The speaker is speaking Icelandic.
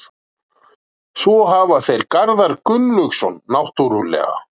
Svo hafa þeir Garðar Gunnlaugsson náttúrulega.